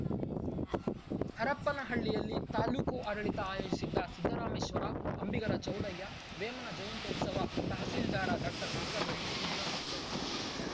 ಹರಪನಹಳ್ಳಿಯಲ್ಲಿ ತಾಲೂಕು ಆಡಳಿತ ಆಯೋಜಿಸಿದ್ದ ಸಿದ್ದರಾಮೇಶ್ವರ ಅಂಬಿಗರ ಚೌಡಯ್ಯ ವೇಮನ ಜಯಂತ್ಯೋತ್ಸವ ತಹಶೀಲ್ದಾರ ಡಾಕ್ಟರ್ ನಾಗವೇಣಿ ಉದ್ಘಾಟಿಸಿದರು ಎಲ್ಲಿಗೆ ಹೋಗ